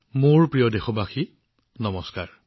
মোৰ মৰমৰ দেশবাসীসকল নমস্কাৰ